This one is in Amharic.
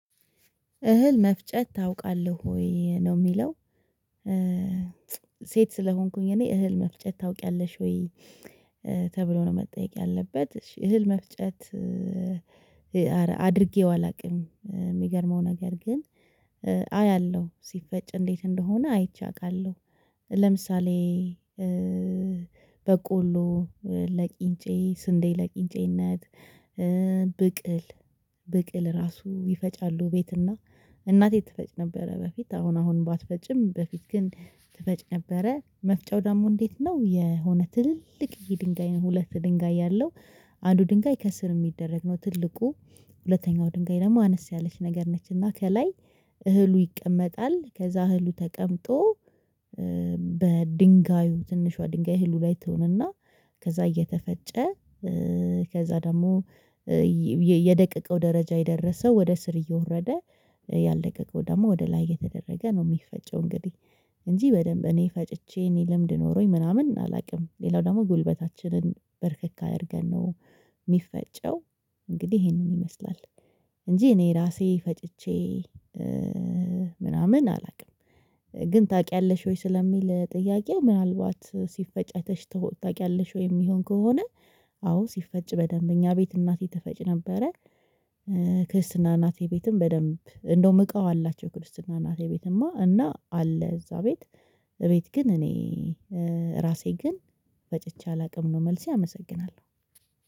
እህል መፍጨት ታውቃለህ ወይ ነው የሚለው? ሴት ስለሆንኩኝ እኔ እህል መፍጨት ታውቂያለሽ ወይ ተብሎ ነው መጠየቅ ያለበት እህል መፍጨት። አላውቅም የሚገርመው ነገር ግን አያለሁ ሲፈጭ እንዴት እንደሆነ አይቼ አውቃለሁ። ለምሳሌ በቆሎ ለቂንጬ ስንዴ ለቅንጬነት ብቅል ብቅል ራሱ ይፈጫሉ ቤትና እናቴ ትፈጭ ነበረ። በፊት አሁን አሁን ባትፈጭም በፊት ግን ትፈጭ ነበረ። መፍጫው ደግሞ እንዴት ነው የሆነ ትልልቅዬ ድንጋይ ነው ሁለት ድንጋይ ያለው። አንዱ ድንጋይ ከስር የሚደረግ ነው። ትልቁ ሁለተኛው ድንጋይ ደግሞ አነስ ያለች ነገር ነች። እና ከላይ እህሉ ይቀመጣል። ከዛ እህሉ ተቀምጦ በድንጋዩ ትንሿ ድንጋይ እህሉ ላይ ትሆንና ከዛ እየተፈጨ ከዛ ደግሞ የደቀቀው ደረጃ የደረሰው ወደ ስር እየወረደ ያልደቀቀው ደግሞ ወደ ላይ የተደረገ ነው። የሚፈጨው እንግዲህ እንጂ በደንብ እኔ ፈጭቼ እኔ ልምድ ኖሮኝ ምናምን አላውቅም። ሌላው ደግሞ ጉልበታችንን በርከክ አድርገን ነው የሚፈጨው። እንግዲህ ይሄንን ይመስላል። እንጂ እኔ ራሴ ፈጭቼ ምናምን አላውቅም። ግን ታውቂያለሽ ወይ ስለሚል ጥያቄው ምናልባት ሲፈጨተሽ አይተሽ ታውቂያለሽ ወይ የሚሆን ከሆነ? አዎ ሲፈጭ በደንብ እኛ ቤት እናቴ ትፈጭ ነበረ። ክርስትና እናቴ ቤትም በደንብ እንደውም እቃው አላቸው ክርስትና እናቴ ቤትማ እና አለ እዛ ቤት። ቤት ግን እኔ ራሴ ግን ፈጭቼ አላውቅም። ነው መልሴ አመሰግናለሁ።